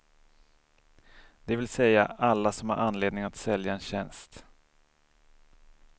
Det vill säga alla som har anledning att sälja en tjänst.